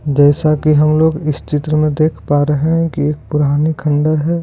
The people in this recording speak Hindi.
जैसा की हम लोग इस चित्र में देख पा रहे है की एक पुराने खंडर है।